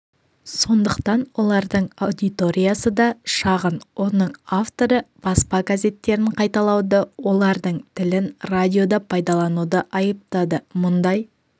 сондықтан олардың аудиториясы да шағын оның авторы баспа газеттерін қайталауды олардың тілін радиода пайдалануды айыптады мұндай